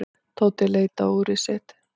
Tóti leit á úrið sitt.